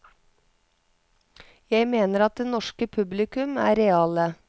Jeg mener at det norske publikum er reale.